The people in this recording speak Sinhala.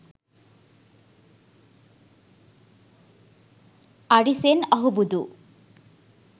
arisen ahubudu